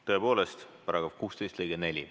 Tõepoolest, § 16 lõige 4.